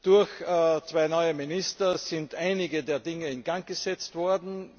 Durch zwei neue Minister sind einige Dinge in Gang gesetzt worden.